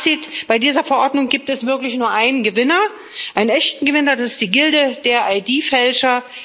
Fazit Bei dieser Verordnung gibt es wirklich nur einen Gewinner, einen echten Gewinner, das ist die Gilde der ID Fälscher